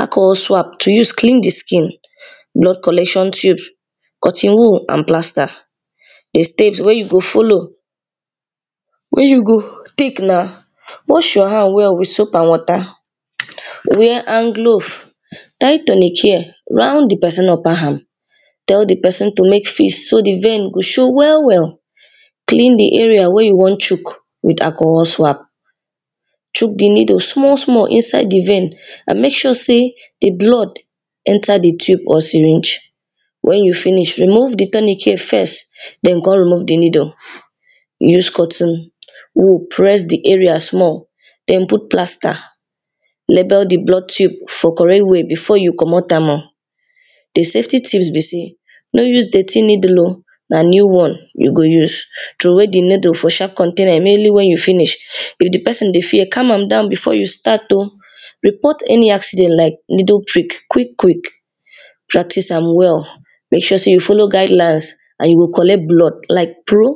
alcohol swab to use clean di skin, blood collection tube, cotton wool and plaster. Di stage wey you go follow wey you go take na, wash your hand well with soap and water, wear hand glove, tie turning chain round di pesin upper arm, tell di pesin to make fist so di vain go show well well, clean di area wey you wan shook with alcohol swab, shook di needle small small inside di vain and make sure sey di blood enter di tube or syringe, wen you finish remove di turning chain first den come remove di needle, use cotton wool press di area small den put plaster, label di blood tude for [2] before you comot am oh. Do safety tips be sey no use dirty needle oh na new one you go use, throway di needle for sharp container immediately wen you finish if di pesin dey fear calm am down before you start oh, report any accident like needle prick quick quick, practice am well make sure sey you follow guide lines and you go collect blood like pro.